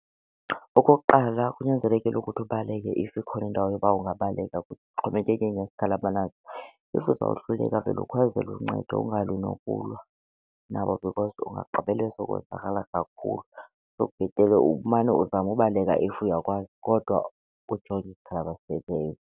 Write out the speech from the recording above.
Okokuqala, kunyanzelekile ukuthi ubaleke if ikhona indawo yoba ungabaleka, kuxhomekeke ngesikhali abanaso. If uzawuhluleka vele ukhwazele uncedo ungalwi nokulwa nabo because ungagqibele sowonzakala kakhulu. So bhetele umane uzame ubaleka if uyakwazi kodwa ujonge isikhali abasiphetheyo.